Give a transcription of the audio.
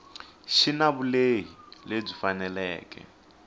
xi na vulehi lebyi faneleke